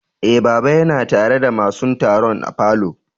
Eh, baba ya na tare da masun taron a falo.